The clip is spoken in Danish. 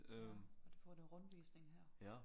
Ja at få noget rundvisning her